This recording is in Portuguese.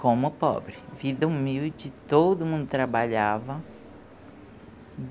Como pobre, vida humilde, todo mundo trabalhava.